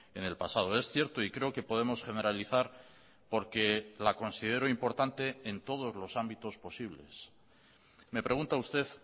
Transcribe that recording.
en el pasado es cierto y creo que podemos generalizar porque la considero importante en todos los ámbitos posibles me pregunta usted